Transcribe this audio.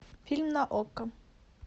фильм на окко